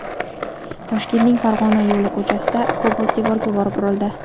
Toshkentning Farg‘ona yo‘li ko‘chasida Cobalt devorga borib urildi.